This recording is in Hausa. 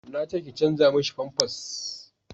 na ce ki canja mishi famfas